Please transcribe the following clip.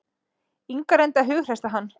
Inga reyndi að hughreysta hann.